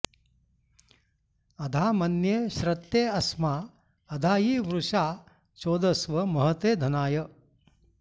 अधा॑ मन्ये॒ श्रत्ते॑ अस्मा अधायि॒ वृषा॑ चोदस्व मह॒ते धना॑य